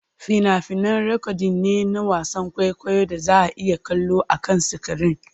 Fina-finai rikodin ne na wasan kwaikwayon da za a iya kallo akan sikirin.